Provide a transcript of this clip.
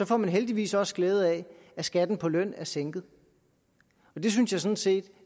får man heldigvis også glæde af at skatten på løn er sænket det synes jeg sådan set